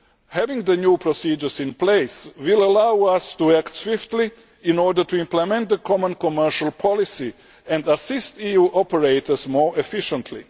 Having the new procedures in place will allow us to act swiftly to implement the common commercial policy and assist EU operators more efficiently.